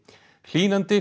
hlýnandi